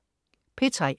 P3: